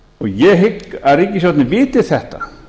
ég hygg að ríkisstjórnin viti þetta